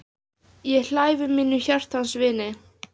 Ég hlæ við mínum hjartans vini.